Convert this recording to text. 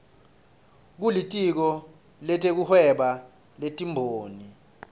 kulitiko letekuhweba netimboni